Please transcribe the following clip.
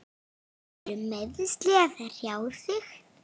Eru meiðsli að hrjá þig?